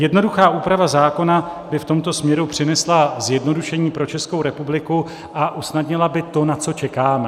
Jednoduchá úprava zákona by v tomto směru přinesla zjednodušení pro Českou republiku a usnadnila by to, na co čekáme.